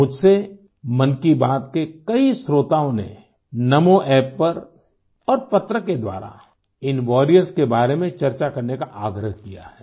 मुझसे मन की बात के कई श्रोताओं ने NamoApp पर और पत्र के द्वारा इन वॉरियर्स के बारे में चर्चा करने का आग्रह किया है